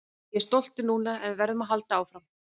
Ég er stoltur núna en við verðum að halda áfram.